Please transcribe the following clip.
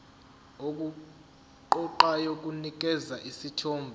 okuqoqayo kunikeza isithombe